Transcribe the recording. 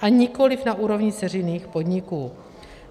a nikoli na úrovni dceřiných podniků.